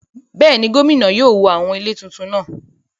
Bẹ́ẹ̀ni, gómìnà yóò wó àwọn ilé tuntun náà